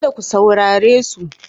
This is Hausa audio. Kada ku saurare su.